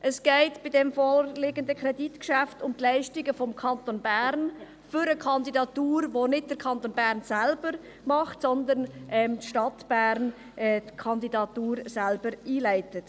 Es geht beim vorliegenden Kreditgeschäft um die Leistungen des Kantons Bern für eine Kandidatur, die nicht der Kanton Bern selber macht, sondern die Stadt Bern selber einleitet.